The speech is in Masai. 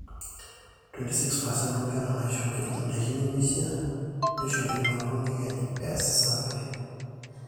26% oonkera naaishooki indaiki nemeishaa neishori inoolong ekenyu eesi survey